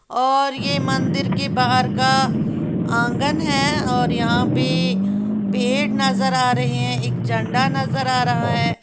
और ये मंदिर के बाहर का आंगन है और यहां पे पेड़ नजर आ रहे हैं। एक झंडा नजर आ रहा है।